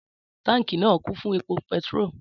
Tànkí náà, kún fún ẹpo pẹtírò